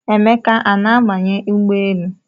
Emeka a na-abanye ụgbọelu?